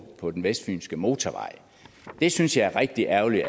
på den vestfynske motorvej det synes jeg er rigtig ærgerligt